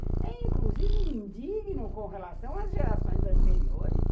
É, inclusive, indigno com relação às gerações anteriores.